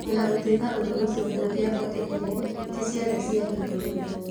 O na gũtuĩka ũndũ ũcio ndũngĩhotekire, ti ciothe ciahingũrĩtwo.